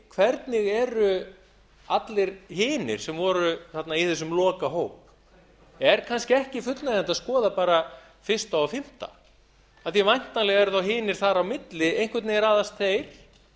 hvernig eru allir hinir sem voru í þessum lokahópi er kannski ekki fullnægjandi að skoða bara fyrsta og fimmta af því að væntanlega eru þá hinir þar á milli einhvern veginn raðast þeir